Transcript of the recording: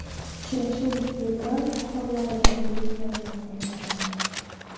Uchrashuv fevral oxirlarida Vyetnamda bo‘lib o‘tadi.